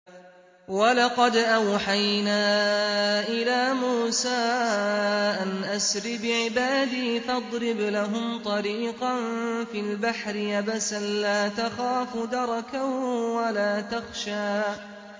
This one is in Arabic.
وَلَقَدْ أَوْحَيْنَا إِلَىٰ مُوسَىٰ أَنْ أَسْرِ بِعِبَادِي فَاضْرِبْ لَهُمْ طَرِيقًا فِي الْبَحْرِ يَبَسًا لَّا تَخَافُ دَرَكًا وَلَا تَخْشَىٰ